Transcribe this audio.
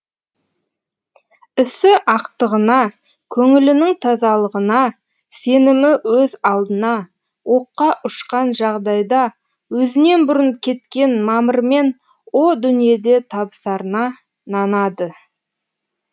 ісі ақтығына көңілінің тазалығына сенімі өз алдына оққа ұшқан жағдайда өзінен бұрын кеткен мамырмен о дүниеде табысарына нанады